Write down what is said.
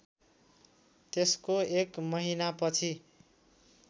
त्यसको एक महिनापछि